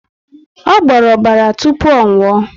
Ọ gboro ọbara tupu ọ nwuo